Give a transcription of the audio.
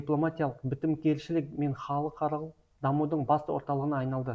дипломатиялық бітімгершілік пен халықаралық дамудың басты орталығына айналды